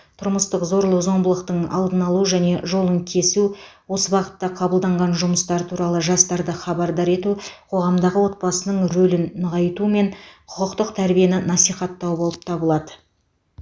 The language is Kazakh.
тұрмыстық зорлық зомбылықтың алдын алу және жолын кесу осы бағытта қабылданған жұмыстар туралы жастарды хабардар ету қоғамдағы отбасының рөлін нығайту мен құқықтық тәрбиені насихаттау болып табылады